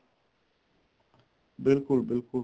ਬਿਲਕੁਲ ਬਿਲਕੁਲ